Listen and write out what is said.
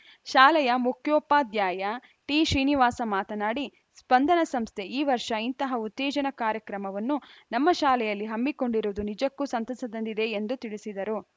ಶಾಲೆಯ ಮುಖ್ಯೋಪಾಧ್ಯಾಯ ಟಿಶ್ರೀನಿವಾಸ ಮಾತನಾಡಿ ಸ್ಪಂದನ ಸಂಸ್ಥೆ ಈ ವರ್ಷ ಇಂತಹ ಉತ್ತೇಜನ ಕಾರ್ಯಕ್ರಮವನ್ನು ನಮ್ಮ ಶಾಲೆಯಲ್ಲಿ ಹಮ್ಮಿಕೊಂಡಿರುವುದು ನಿಜಕ್ಕೂ ಸಂತಸ ತಂದಿದೆ ಎಂದು ತಿಳಿಸಿದರು